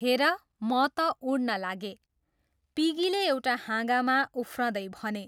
हेर म त उड्न लागेँ, पिगीले एउटा हाँगामा उफ्रँदै भने।